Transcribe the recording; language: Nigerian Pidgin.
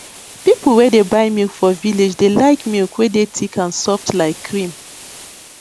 people wey dey buy milk for village dey like milk wey dey thick and soft like cream